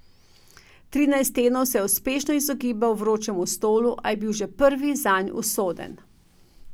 Trinajst tednov se je uspešno izogibal vročemu stolu, a je bil že prvi zanj usoden.